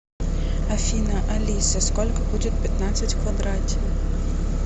афина алиса сколько будет пятнадцать в квадрате